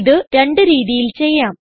ഇത് രണ്ട് രീതിയിൽ ചെയ്യാം